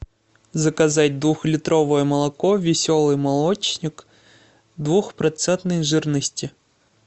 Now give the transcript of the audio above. заказать двухлитровое молоко веселый молочник двухпроцентной жирности